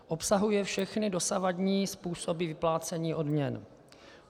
Obsahuje všechny dosavadní způsoby vyplácení odměn.